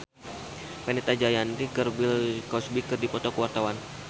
Fenita Jayanti jeung Bill Cosby keur dipoto ku wartawan